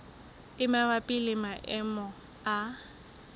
e mabapi le maemo a